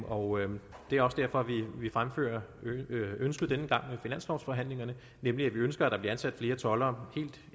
og det er også derfor vi fremfører ønsket denne gang ved finanslovforhandlingerne nemlig at vi ønsker at der bliver ansat flere toldere helt